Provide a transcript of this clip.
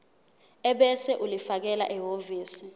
ebese ulifakela ehhovisi